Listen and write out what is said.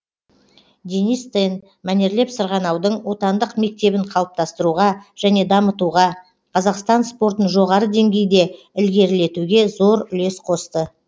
денис тен мәнерлеп сырғанаудың отандық мектебін қалыптастыруға және дамытуға қазақстан спортын жоғары деңгейде ілгерілетуге зор үлес қосты